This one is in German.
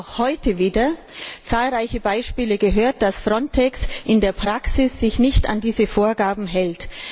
Wir haben auch heute wieder zahlreiche Beispiele gehört, dass sich FRONTEX in der Praxis nicht an diese Vorgaben hält.